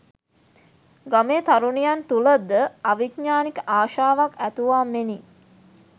ගමේ තරුණියන් තුළ ද අවිඥ්ඥානික ආශාවක් ඇතුවා මෙනි